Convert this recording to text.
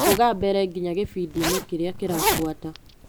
Rũga mbere nginya gĩbindi-inĩ kĩrĩa kĩrabuata .